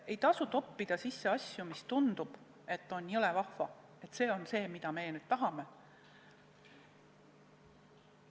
Ei maksa eelnõusse toppida asju, mille puhul tundub, et jõle vahva, see on nüüd see, mida meie tahame.